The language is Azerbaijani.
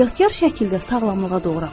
Ehtiyatkar şəkildə sağlamlığa doğru aparır.